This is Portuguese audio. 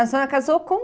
A senhora casou com